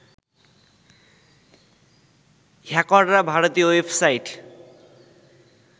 হ্যাকররা ভারতীয় ওয়েবসাইট